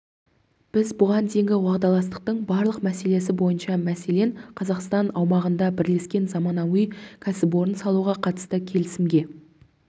біз бұған дейінгі уағдаластықтың барлық мәселесі бойынша мәселен қазақстан аумағында бірлескен заманауи кәсіпорын салуға қатысты келісімге